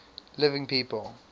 living people